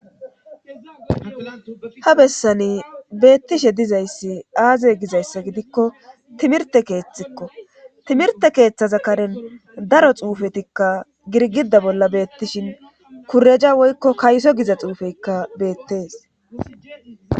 ha bessani beettishe dizayssi aaze gizayssa gidikko timirte keeththikko timirte keeththaza karen daro xuufetikka girgida bolla beettishin kureja woykko kayso giza xuufeykka beettees